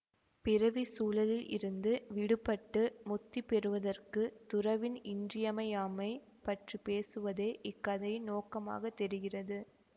பிறவிச் சுழலில் இருந்து விடுபட்டு முத்தி பெறுவதற்குத் துறவின் இன்றியமையாமை பற்றி பேசுவதே இக் கதையின் நோக்கமாகத் தெரிகிறது